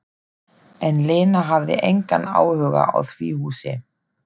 En Lena hafði engan áhuga á því húsi.